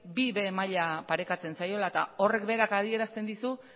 bib maila parekatzen zaiola eta horrek berak adierazten dizu